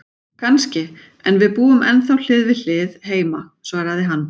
Kannski, en við búum ennþá hlið við hlið heima, svaraði hann.